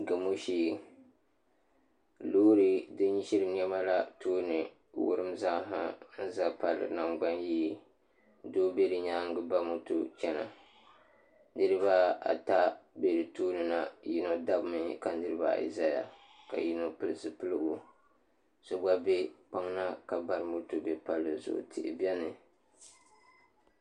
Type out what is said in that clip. Gamo shee loori din ʒiri niɛma na tooni n wurim zaaha n ʒɛ palli nangbani yee doo bɛ di nyaangi ba moto chɛna niraba ata bɛ di tooni na yino dabimi ka niraba ayi ʒɛya ka yino pili zipiligu so gba bɛ kpaŋ na ka bari moto bɛ palli zuɣu tihi biɛni